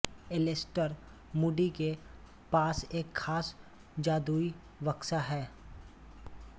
Alastair Moody के पास एक ख़ास जादुई बक्सा है